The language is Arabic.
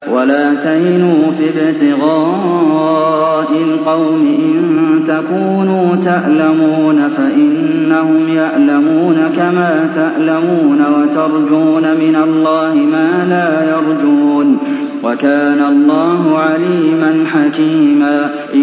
وَلَا تَهِنُوا فِي ابْتِغَاءِ الْقَوْمِ ۖ إِن تَكُونُوا تَأْلَمُونَ فَإِنَّهُمْ يَأْلَمُونَ كَمَا تَأْلَمُونَ ۖ وَتَرْجُونَ مِنَ اللَّهِ مَا لَا يَرْجُونَ ۗ وَكَانَ اللَّهُ عَلِيمًا حَكِيمًا